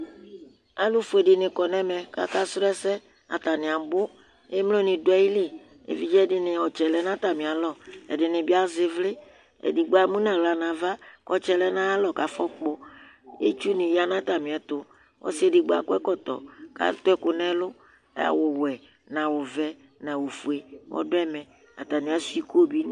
alò fue di ni kɔ n'ɛmɛ k'aka srɔ ɛsɛ atani abò emlo ni do ayili evidze di ni ɔtsɛ lɛ n'atami alɔ ɛdi ni bi azɛ ivli edigbo emu no ala n'ava k'ɔtsɛ lɛ n'ayi alɔ k'afɔ kpɔ itsu ni ya n'atamiɛto ɔsi edigbo akɔ ɛkɔtɔ k'ato ɛkò n'ɛlu awu we n'awu vɛ n'awu fue ɔdu ɛmɛ atani asua iko bi